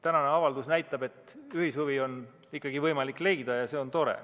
Tänane avaldus näitab, et ühishuvi on ikkagi võimalik leida, ja see on tore.